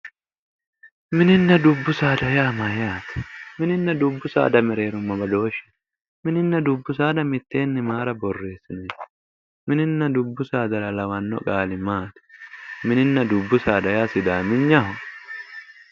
Mininna dubbu saada yaa mayyate? Mininna dubbu saada mereero no badooshshu. Mininna dubbu saada mitteenni mayira borreessini? Mininna dubbu saadara lawanno qaali maati? Mininna dubbu saada yaa sidaaminyaho?